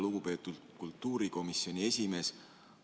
Lugupeetud kultuurikomisjoni esimees!